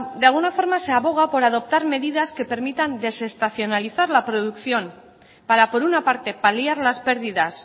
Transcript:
de alguna forma se aboga por adoptar medidas que permitan desestacionalizar la producción para por una parte paliar las pérdidas